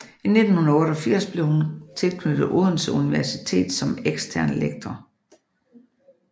I 1988 blev hun tilknyttet Odense Universitet som ekstern lektor